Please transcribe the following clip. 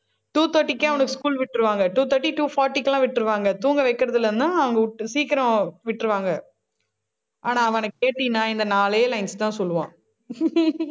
two thirty க்கே, அவனுக்கு school விட்டுருவாங்க. two thirty, two forty க்கு எல்லாம், விட்டுருவாங்க. தூங்க வைக்கிறது இல்லைன்னா, அவங்க விட்~ சீக்கிரம் விட்ருவாங்க. ஆனா, அவனைக் கேட்டின்னா, இந்த நாலே lines தான் சொல்லுவான்.